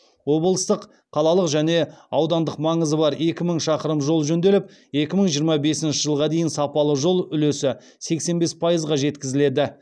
облыстық қалалық және аудандық маңызы бар екі мың шақырым жол жөнделіп екі мың жиырма бесінші жылға дейін сапалы жол үлесі сексен бес пайызға жеткізіледі